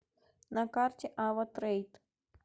на карте ава трэйд